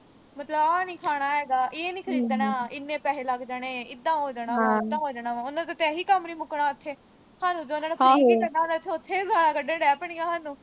ਮਤਲਬ ਆਹ ਨੀਂ ਖਾਣਾ ਹੈਗਾ। ਇਹ ਨੀਂ ਖਰੀਦਣਾ। ਇੰਨੇ ਪੈਸੇ ਲੱਗ ਜਾਣੇ। ਏਦਾਂ ਹੋ ਜਾਣਾ ਵਾ, ਉਦਾਂ ਹੋ ਜਾਣਾ ਵਾ। ਉਨ੍ਹਾਂ ਦਾ ਤਾਂ ਇਹੀ ਕੰਮ ਨੀਂ ਮੁੱਕਣਾ ਉਥੇ। ਉਨ੍ਹਾਂ ਨੇ ਤਾਂ ਉਥੇ ਵੀ ਗਾਲ੍ਹਾਂ ਕੱਢਣ ਡਹਿ ਪੈਣੀਆਂ ਸਾਨੂੰ।